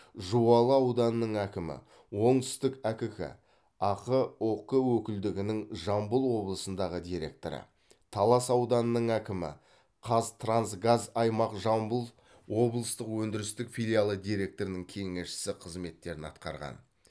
жуалы ауданының әкімі оңтүстік әкк ақ ұк өкілдігінің жамбыл облысындағы директоры талас ауданының әкімі қазтрансгаз аймақ жамбыл облыстық өндірістік филиалы директорының кеңесшісі қызметтерін атқарған